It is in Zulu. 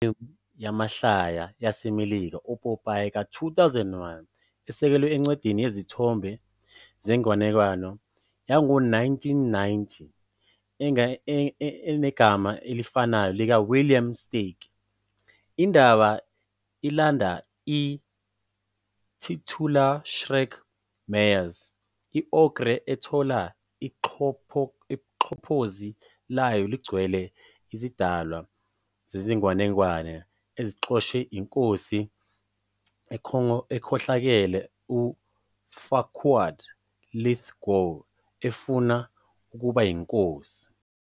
I-Shrek iyifilimu yamahlaya yaseMelika epopayi ka-2001 esekelwe encwadini yezithombe zenganekwane yango-1990 enegama elifanayo likaWilliam Steig. Indaba ilandela i-titular Shrek, Myers, i-ogre ethola ixhaphozi layo ligcwele izidalwa zezinganekwane ezixoshwe iNkosi ekhohlakele uFarquaad, Lithgow, efuna ukuba yinkosi.